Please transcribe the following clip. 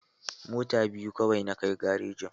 Mota biyu kawai na kai garejin.